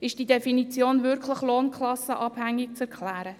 Ist die Definition wirklich abhängig von der Lohnklasse zu erklären?